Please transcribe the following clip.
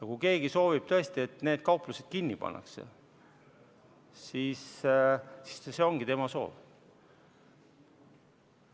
Kui keegi soovib tõesti, et need kauplused kinni pannakse, siis see ongi tema soov.